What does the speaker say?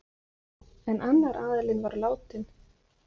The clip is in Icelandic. En annar aðilinn var látinn.